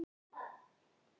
Ekki eitt stykki vel gert.